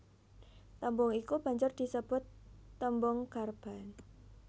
Tembung iku banjur disebut tembung garban